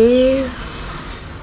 ये